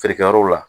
Feerekɛyɔrɔw la